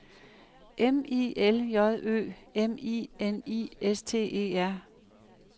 M I L J Ø M I N I S T E R